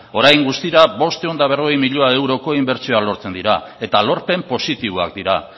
orain guztira bostehun eta berrogei miloi euroko inbertsioa lortzen dira eta lorpen positiboak dira